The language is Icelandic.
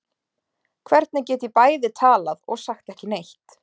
Hvernig get ég bæði talað og sagt ekki neitt?